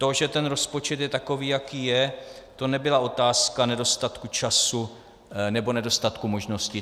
To, že ten rozpočet je takový, jaký je, to nebyla otázka nedostatku času nebo nedostatku možností.